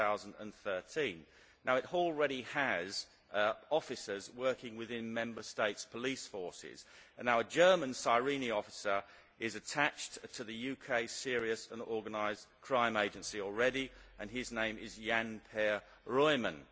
2013. It already has officers working within Member States' police forces and our German SIRENE officer is attached to the UK's Serious Organised Crime Agency and his name is Jan Per Ruehmann.